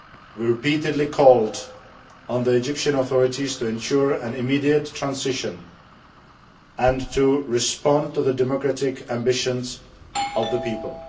We repeatedly called on the Egyptian authorities to ensure an immediate transition and to respond to the democratic ambitions of the people.